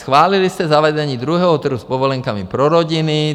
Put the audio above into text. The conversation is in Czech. Schválili jste zavedení druhého trhu s povolenkami pro rodiny.